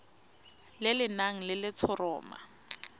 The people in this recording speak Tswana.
le le nang le letshoroma